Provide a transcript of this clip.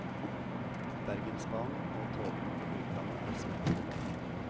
Bergensbanen og togene til utlandet er smekk fulle.